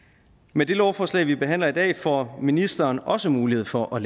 med det lovforslag vi behandler i dag får ministeren også mulighed for at